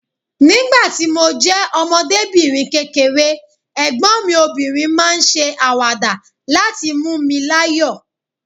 Nígbà tí mo jẹ́ ọmọdébìnrin kékeré, ẹ̀gbọ́n mi obìnrin máa ń ṣe àwàdà láti mú mi láyọ̀